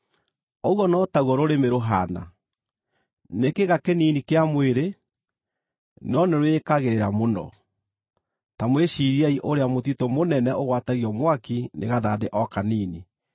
Ũguo no taguo rũrĩmĩ rũhaana. Nĩ kĩĩga kĩnini kĩa mwĩrĩ, no nĩ rwĩĩkagĩrĩra mũno. Ta mwĩciiriei ũrĩa mũtitũ mũnene ũgwatagio mwaki nĩ gathandĩ o kanini.